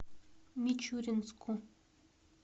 мичуринску